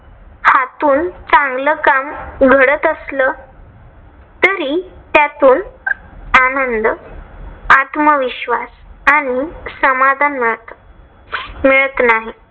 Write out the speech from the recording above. आतून चांगल काम घडत असलं. तरी त्यातून आनंद आत्मविश्वास आणि समाधान मिळत मिळत नाही.